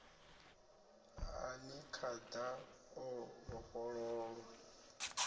a ni khada o vhofholowa